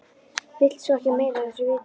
Vill svo ekki meira af þessu vita.